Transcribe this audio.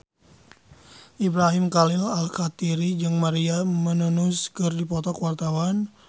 Ibrahim Khalil Alkatiri jeung Maria Menounos keur dipoto ku wartawan